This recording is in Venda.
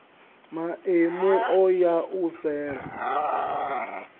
maemu o ya u sela